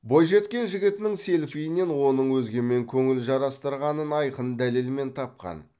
бойжеткен жігітінің селфиінен оның өзгемен көңіл жарастырғанын айқын дәлелмен тапқан